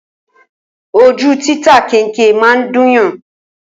Ojú títa kẹnkẹ máa ń dúnyàn